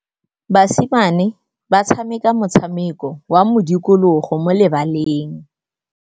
Basimane ba tshameka motshameko wa modikologô mo lebaleng.